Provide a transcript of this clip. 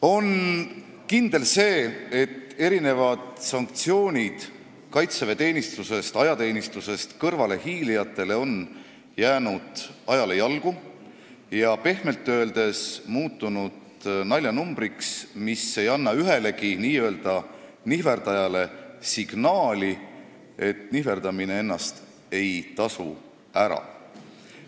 On kindel, et erinevad sanktsioonid kaitseväeteenistusest, ajateenistusest kõrvalehiilijatele on ajale jalgu jäänud ja pehmelt öeldes muutunud naljanumbriks, mis ei anna ühelegi nihverdajale signaali, et nihverdamine ei tasu ennast ära.